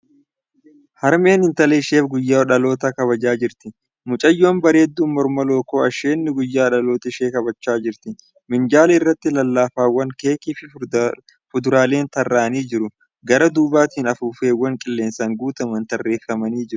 Harmeen intala isheef guyyaa dhalootaa kabajaa jirti. Mucayyoon bareedduu morma lookoo asheenni guyyaa dhalootaa ishee kabajachaa jirti . Minjaala irratti lallaafaawwan , keekii fi fuduraaleen tarraa'anii jiru. Garaa duubatiin afuuffeewwn qilleensaan guutaman tarreeffamanii jiru.